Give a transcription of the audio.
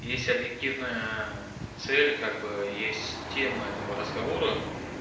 есть объективная цель как бы есть тема этого разговора